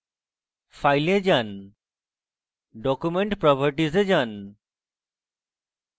file এ যান document properties এ টিপুন